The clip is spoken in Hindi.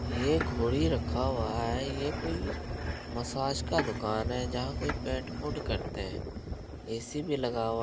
एक घोड़ी रखा हुआ है। ये कोई मसाज का दुकान है जहाँ कोई पेंट पूंट करते है। ए.सी. भी लगा हुआ --